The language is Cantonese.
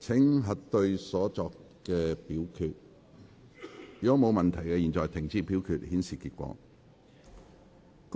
如果沒有問題，現在停止表決，顯示結果。